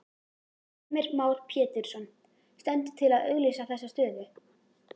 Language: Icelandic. Heimir Már Pétursson: Stendur til að auglýsa þessa stöðu?